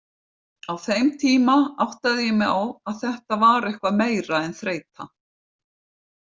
Á þeim tíma áttaði ég mig á að þetta var eitthvað meira en þreyta.